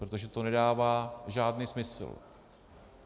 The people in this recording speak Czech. Protože to nedává žádný smysl.